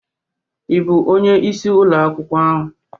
Ị bụ onye isi ụlọ akwụkwọ ahụ?